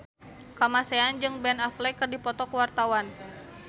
Kamasean jeung Ben Affleck keur dipoto ku wartawan